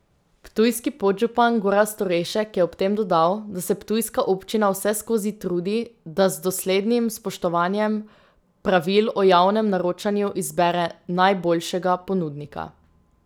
Ptujski podžupan Gorazd Orešek je ob tem dodal, da se ptujska občina vseskozi trudi, da z doslednim spoštovanjem pravil o javnem naročanju izbere najboljšega ponudnika.